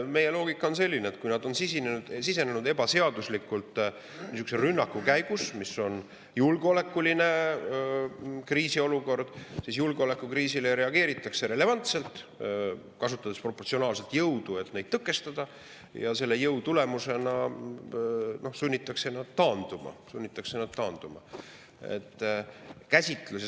Meie loogika on selline, et kui nad on sisenenud ebaseaduslikult niisuguse rünnaku käigus ja meil on julgeolekuline kriisiolukord, siis julgeolekukriisile reageeritakse relevantselt, kasutades proportsionaalselt jõudu, et neid tõkestada, ja selle jõu tulemusena sunnitakse nad taanduma.